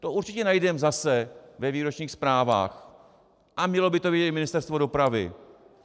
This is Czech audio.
To určitě najdeme zase ve výročních zprávách a mělo by to vědět i Ministerstvo dopravy.